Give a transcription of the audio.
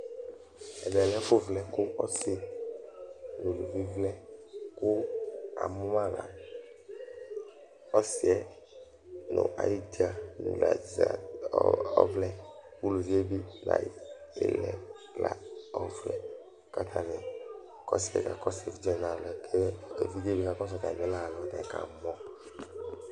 Ɛfuvlɛ kʋ ɔsi ŋu evidze vlɛ kʋ amʋma la ɔsiɛ ŋu ayʋ idza ɔvlɛ Uluvie bi ŋu ayʋ lɛ ɔvlɛ kʋ ataŋi ɔsiɛ kakɔsu evidze waŋi atami alɔ kʋ evidze waŋi bi kakɔsu atami la ayʋ alɔɛ kʋ akamɔ